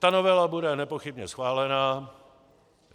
Ta novela bude nepochybně schválená.